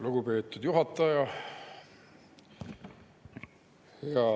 Lugupeetud juhataja!